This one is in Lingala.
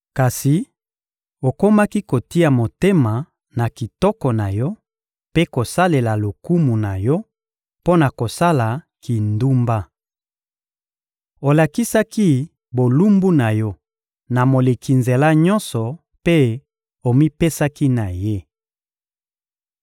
Kasi okomaki kotia motema na kitoko na yo mpe kosalela lokumu na yo mpo na kosala kindumba. Olakisaki bolumbu na yo na moleki nzela nyonso mpe omipesaki na ye.